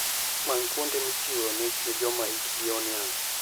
Many kuonde michiwoe mich ne joma hikgi oniang'.